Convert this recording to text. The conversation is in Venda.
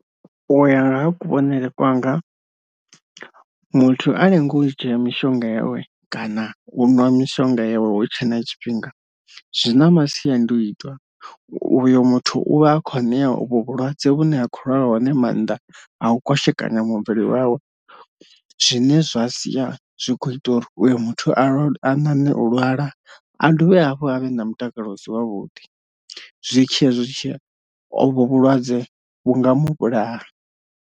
Uya nga ha kuvhonele kwanga muthu a lenga u dzhia mishonga yawe kana uṅwa mishonga yawe hu tshe na tshifhinga zwi na masiandoitwa, uyo muthu uvha a kho nea uvho vhulwadze vhune ha khou lwalwa hone mannḓa a u kwashekanya muvhili wawe, zwine zwa sia zwi kho ita uri uyu muthu a lwale a ṋaṋe u lwala a dovhe hafhu a vhe na mutakalo u si wavhuḓi zwitshia zwitshia ovho vhulwadze vhu nga mulaha.